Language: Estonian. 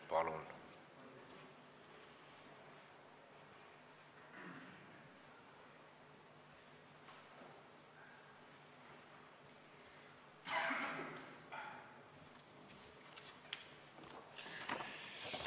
Palun!